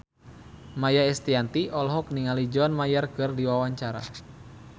Maia Estianty olohok ningali John Mayer keur diwawancara